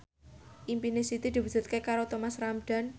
impine Siti diwujudke karo Thomas Ramdhan